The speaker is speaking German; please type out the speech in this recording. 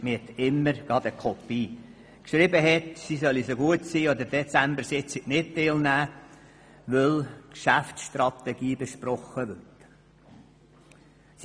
In besagter E-Mail stand, sie solle an der Dezembersitzung bitte nicht teilnehmen, weil die Geschäftsstrategie besprochen werde.